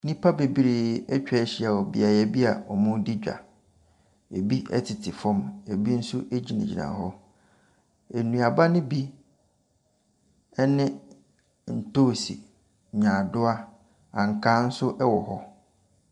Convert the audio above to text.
Nnipa bebree atwa ahyia wɔ beaeɛ bi a wɔredi dwa. Ɛbi tete fam, ɛbu nso gyinagyina hɔ. Nnuaba no bi ne ntoosi, nnyaadewa, ankaa nso wɔ hɔ.